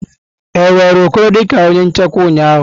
E were Okoro dị ka onye nchekwa ụnyaahụ?